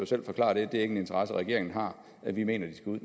selv forklare det det er ikke en interesse regeringen har vi mener at de skal ud